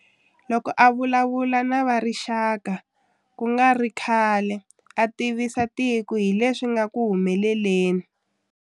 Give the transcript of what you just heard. Loko a vulavurisana na rixaka ku nga ri khale a tivisa tiko hi leswi nga ku humeleleni.